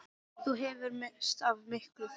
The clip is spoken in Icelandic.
Þú hefðir misst af miklu!